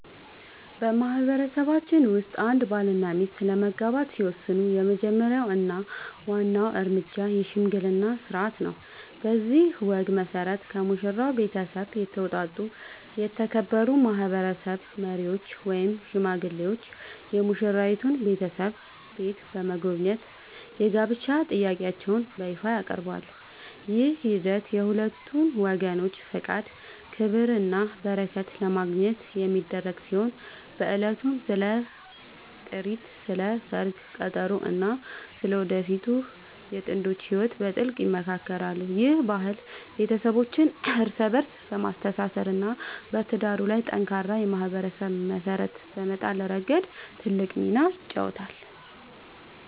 በማህበረሰባችን ውስጥ አንድ ባልና ሚስት ለመጋባት ሲወስኑ የመጀመሪያው እና ዋናው እርምጃ **የሽምግልና ሥርዓት** ነው። በዚህ ወግ መሠረት፣ ከሙሽራው ቤተሰብ የተውጣጡ የተከበሩ ማህበረሰብ መሪዎች ወይም ሽማግሌዎች የሙሽራይቱን ቤተሰብ ቤት በመጎብኘት የጋብቻ ጥያቄያቸውን በይፋ ያቀርባሉ። ይህ ሂደት የሁለቱን ወገኖች ፈቃድ፣ ክብርና በረከት ለማግኘት የሚደረግ ሲሆን፣ በዕለቱም ስለ ጥሪት፣ ስለ ሰርግ ቀጠሮ እና ስለ ወደፊቱ የጥንዶቹ ህይወት በጥልቀት ይመካከራሉ። ይህ ባህል ቤተሰቦችን እርስ በእርስ በማስተሳሰር እና በትዳሩ ላይ ጠንካራ የማህበረሰብ መሰረት በመጣል ረገድ ትልቅ ሚና ይጫወታል።